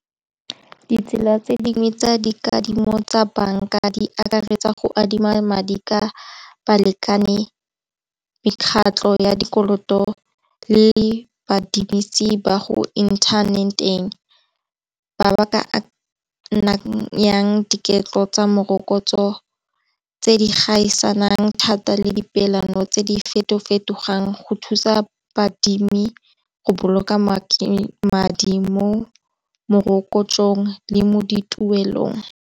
Ditsela tse dingwe tsa dikadimo tsa bank-a di akaretsa go adima madi ka balekane mekgatlho ya dikoloto le badirisi ba go interneteng, ba ba ka yang boiketlo tsa morokotso tse di gaisanang thata le di peelano tse di feto fetogang go thusa baadimi go boloka madi mo morokotso ong le mo dituelong.